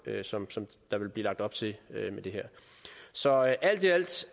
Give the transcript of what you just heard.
som der ville blive lagt op til med det her så alt i alt